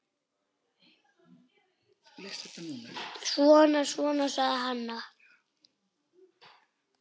Svona, svona, sagði hann.